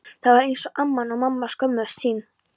Það var eins og amman og mamman skömmuðust sín.